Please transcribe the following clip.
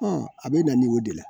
a bɛ dani o de la